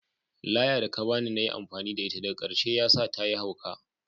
Laya da ka bani na yi amfani da ita, daga karshe ya sa ta yi hauka